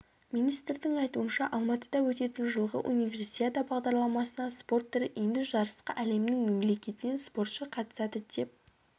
министрдің айтуынша алматыда өтетін жылғы универсиада бағдарламасына спорт түрі енді жарысқа әлемнің мемлекетінен спортшы қатысады деп